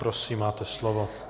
Prosím, máte slovo.